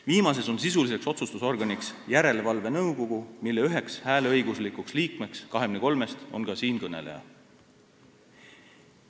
Viimases on sisuline otsustusorgan järelevalvenõukogu, mille üks hääleõiguslik liige 23-st on ka siinkõneleja.